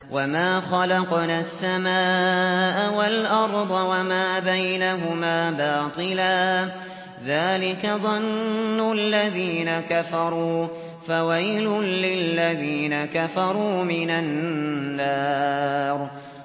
وَمَا خَلَقْنَا السَّمَاءَ وَالْأَرْضَ وَمَا بَيْنَهُمَا بَاطِلًا ۚ ذَٰلِكَ ظَنُّ الَّذِينَ كَفَرُوا ۚ فَوَيْلٌ لِّلَّذِينَ كَفَرُوا مِنَ النَّارِ